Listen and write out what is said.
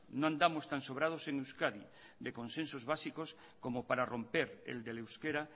no andamos tan sobrados en euskadi de consensos básicos como para romper el del euskera